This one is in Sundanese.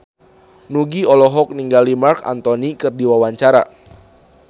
Nugie olohok ningali Marc Anthony keur diwawancara